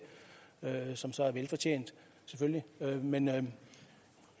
som så er velfortjent selvfølgelig men